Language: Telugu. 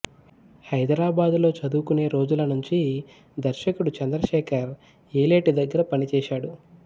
హైదరాబాదులో చదువుకునే రోజులనుంచి దర్శకుడు చంద్రశేఖర్ యేలేటి దగ్గర పనిచేశాడు